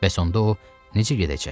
Bəs onda o necə gedəcək?